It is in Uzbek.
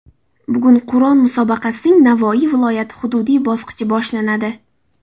Bugun Qur’on musobaqasining Navoiy viloyati hududiy bosqichi boshlanadi.